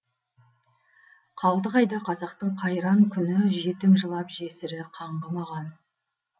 қалды қайда қазақтың қайран күні жетім жылап жесірі қаңғымаған